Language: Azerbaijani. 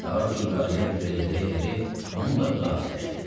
Artur qarıya ürək dirək verib, onunla xudafisləşdi.